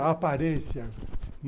A aparência.